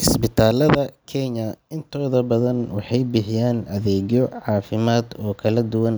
Isbitaalada Kenya intooda badan waxay bixiyaan adeegyo caafimaad oo kala duwan,